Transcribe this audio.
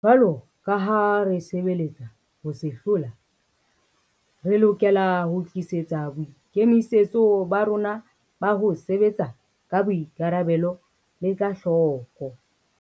Jwaloka ha re sebeletsa ho se hlola, re lokela ho tii setsa boikemisetso ba rona ba ho sebetsa ka boikarabelo le ka hloko.